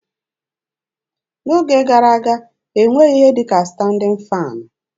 N'oge gara aga, e nweghị ihe dị ka standịn faanị